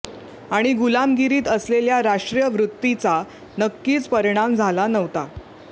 आणि गुलामगिरीत असलेल्या राष्ट्रीय वृत्तीचा नक्कीच परिणाम झाला नव्हता